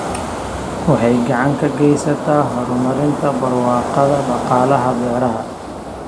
Waxay gacan ka geysataa horumarinta barwaaqada dhaqaalaha beeraha.